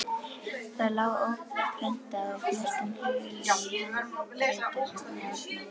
Það lá óprentað og flestum hulið í handritasafni Árna.